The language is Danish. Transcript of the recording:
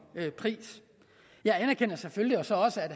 pris jeg anerkender selvfølgelig så også at